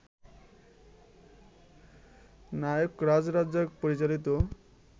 নায়করাজ রাজ্জাক পরিচালিত